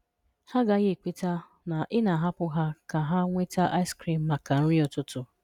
Ha agaghị ekweta na ị na-ahapụ ha ka ha nweta ice cream maka nri ụtụtụ.